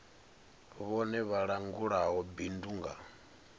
vhone vha langulaho bindu nga